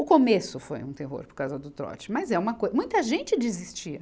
O começo foi um terror por causa do trote, mas é uma co, muita gente desistia.